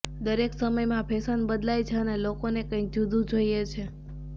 દરેક સમયમાં ફેશન બદલાય છે અને લોકોને કંઈક જુદુ જોઈએ છે